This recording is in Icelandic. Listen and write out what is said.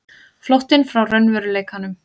Flóttinn frá raunveruleikanum.